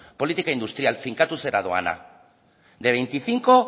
politika industrial finkatuzera doana de veinticinco